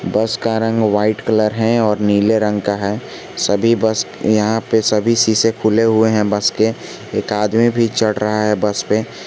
बस का रंग व्हाइट कलर है और नीले रंग के हैं सभी बस यहां पे सभी शीशे खुले हुए हैं बस के एक आदमी भी चढ़ रहा है बस पे।